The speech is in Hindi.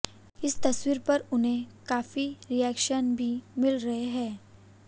इस तस्वीर पर उन्हें काफी रिेक्शन्स भी मिल रहे हैं